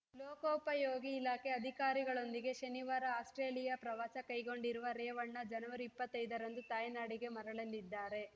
ಲೋಕೋಪಯೋಗಿ ಇಲಾಖೆ ಅಧಿಕಾರಿಗಳೊಂದಿಗೆ ಶನಿವಾರ ಆಸ್ಪ್ರೇಲಿಯಾ ಪ್ರವಾಸ ಕೈಗೊಂಡಿರುವ ರೇವಣ್ಣ ಜನವರಿ ಇಪ್ಪತ್ತೈದರಂದು ತಾಯ್ನಾಡಿಗೆ ಮರಳಲಿದ್ದಾರೆ